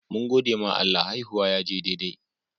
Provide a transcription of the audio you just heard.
Mun gode ma Allah, haihuwan ya je daidai.